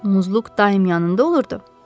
Axı Muzluq daim yanında olurdu.